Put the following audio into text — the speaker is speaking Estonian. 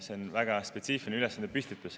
See on väga spetsiifiline ülesandepüstitus.